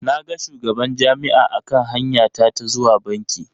Na ga shugaban Jami'a a kan hanya ta ta zuwa banki.